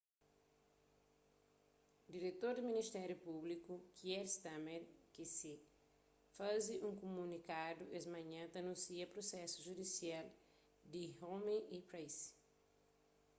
diretor di ministériu públiku kier starmer qc faze un kumunikadu es manhan ta anúnsia prusesu judisial di huhne y pryce